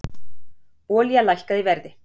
Olía lækkaði í verði